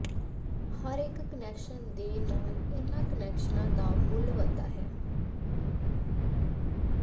ਹਰੇਕ ਕੁਨੈਕਸ਼ਨ ਦੇ ਨਾਲ ਇਹਨਾਂ ਕੁਨੈਕਸ਼ਨਾਂ ਦਾ ਮੁੱਲ ਵਧਦਾ ਹੈ